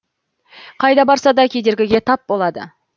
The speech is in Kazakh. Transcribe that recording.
қайда барса да кедергіге тап болады